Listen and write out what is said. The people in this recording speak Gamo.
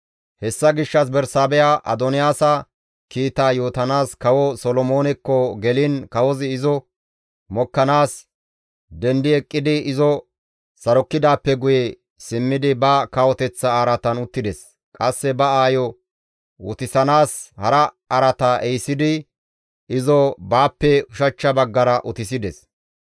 Hessa gishshas Bersaabeha Adoniyaasa kiitaa yootanaas kawo Solomoonekko geliin kawozi izo mokkanaas dendi eqqidi izo sarokkidaappe guye simmidi ba kawoteththa araatan uttides. Qasse ba aayo utissanaas hara araata ehisidi izo baappe ushachcha baggara utisides.